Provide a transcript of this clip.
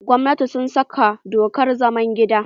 Gwamnatin sun saka dokar zaman gida.